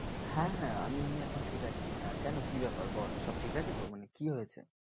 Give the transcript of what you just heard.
হ্যাঁ হ্যাঁ আমি এমনি এখন ঠিক আছি আহ কেন কি ব্যাপার বল সব ঠিক আছে তো? মানে কি হয়েছে?